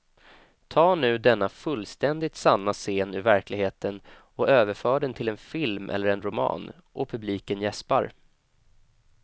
Ta nu denna fullständigt sanna scen ur verkligheten och överför den till en film eller en roman och publiken jäspar.